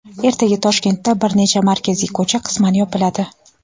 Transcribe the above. Ertaga Toshkentda bir nechta markaziy ko‘cha qisman yopiladi.